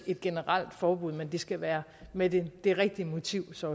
et generelt forbud men det skal være med det det rigtige motiv så